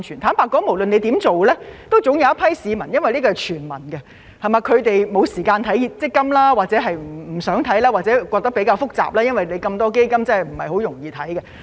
坦白說，無論怎樣做都總會有一批市民——因為這是全民的措施——沒有時間留意強積金，或認為比較複雜不想看，因為那麼多基金其實是不容易看的。